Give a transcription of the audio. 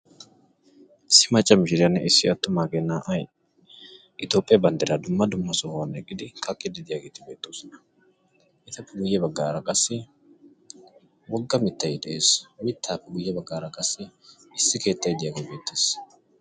issi macca mishiriyanne issi atumaagee naa'ay toophiya bandiraa dumma dumma ohuwan eqqidi kaqiidi beetoososna. etappe ya bagaara qassi woga mitay dees, he mitaappe guye bagaara qassi keettay ditaagee beetees.